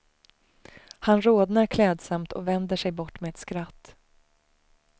Han rodnar klädsamt och vänder sig bort med ett skratt.